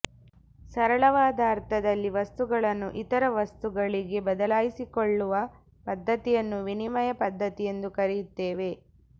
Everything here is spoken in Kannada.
ಸರಳವಾದ ಅರ್ಥದಲ್ಲಿ ವಸ್ತುಗಳನ್ನು ಇತರ ವಸ್ತುಗಳಿಗೆ ಬದಲಾಯಿಸಿಕೊಳ್ಳುವ ಪದ್ಧತಿಯನ್ನು ವಿನಿಮಯ ಪದ್ಧತಿ ಎಂದು ಕರೆಯುತ್ತೇವೆ